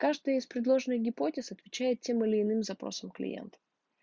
каждый из предложенных гипотез отвечает тем или иным запросам клиентов